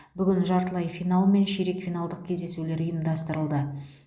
бүгін жартылай финал мен ширек финалдық кездесулер ұйымдастырылды